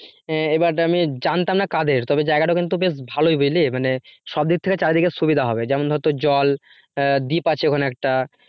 এবার আমি জানতাম না কাদের তবে জায়গাটা বেশ ভালোই বুঝলি মানে সবদিক থেকে চারিদিকে সুবিধা হবে যেমন ধর তোর জল দ্বীপ আছে ওখানে একটা